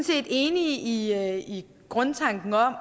set enige i grundtanken om